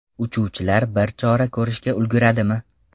Uchuvchilar biror chora ko‘rishga ulguradimi?